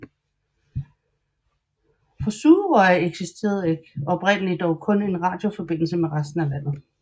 Fra Suðuroy eksisterede oprindeligt dog kun en radioforbindelse med resten af landet